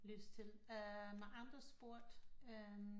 Lyst til øh med andre sporter